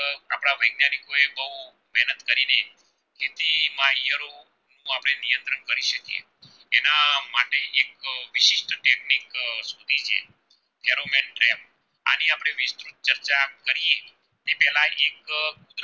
ચર્ચા કરીયે એ પેલા એક